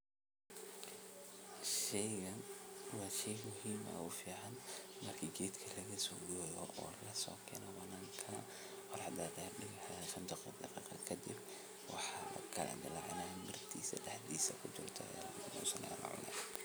Sheygan waa shey muhiim ah oo fican marka geedka laga sogoyo oo lakeno waxaa lakala dilacinaya mirtisa daxda kujirto aya lacuni.